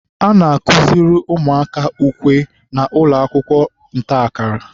a na-akụziri ụmụaka ukwe na ụlọakwụkwọ ntakara